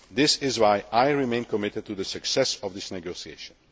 This is why I remain committed to the success of these negotiations.